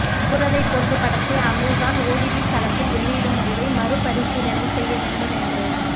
சூரரைப் போற்று படத்தை Amazon OTT தளத்தில் வெளியிடும் முடிவை மறுபரிசீலனை செய்ய வேண்டும் என்று